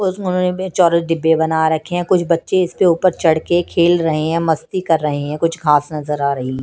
उसमें उन्होंने चौरस डिब्बे बना रखे हैं कुछ बच्चे इसपे ऊपर चढ़ के खेल रहे हैं मस्ती कर रहे हैं कुछ घास नजर आ रही है।